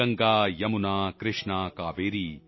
Ganga Yamuna Krishna Kaveri